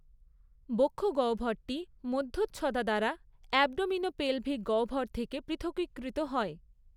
বক্ষঃ গহ্বরটি মধ্যচ্ছদা দ্বারা অ্যাবডোমিনোপেলভিক গহ্বর থেকে পৃথকীকৃত হয়।